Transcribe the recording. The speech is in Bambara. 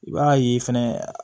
I b'a ye fɛnɛ